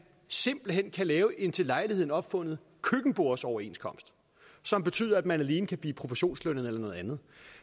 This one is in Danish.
simpelt hen kan laves en til lejligheden opfundet køkkenbordsoverenskomst som betyder at man alene kan blive provisionslønnet eller noget andet